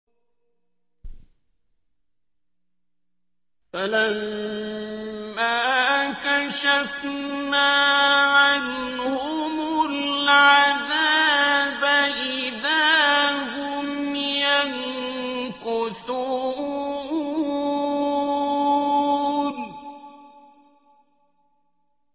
فَلَمَّا كَشَفْنَا عَنْهُمُ الْعَذَابَ إِذَا هُمْ يَنكُثُونَ